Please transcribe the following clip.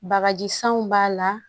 Bagaji sanw b'a la